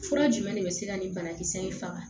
Fura jumɛn de bɛ se ka nin banakisɛ in faga